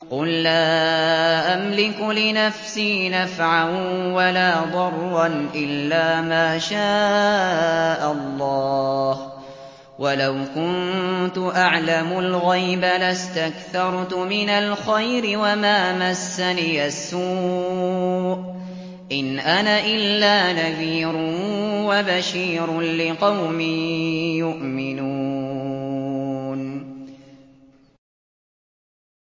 قُل لَّا أَمْلِكُ لِنَفْسِي نَفْعًا وَلَا ضَرًّا إِلَّا مَا شَاءَ اللَّهُ ۚ وَلَوْ كُنتُ أَعْلَمُ الْغَيْبَ لَاسْتَكْثَرْتُ مِنَ الْخَيْرِ وَمَا مَسَّنِيَ السُّوءُ ۚ إِنْ أَنَا إِلَّا نَذِيرٌ وَبَشِيرٌ لِّقَوْمٍ يُؤْمِنُونَ